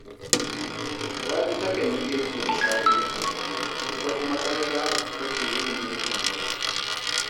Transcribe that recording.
Rabi takan yi girki da safe, ita kuma 'yarta take yin girkin dare